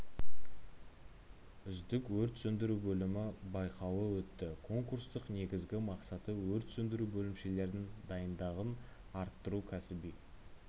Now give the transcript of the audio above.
үздік өрт сөндіру бөлімі байқауы өтті конкурстың негізгі мақсаты өрт сөндіру бөлімшелердің дайындығын арттыру кәсіби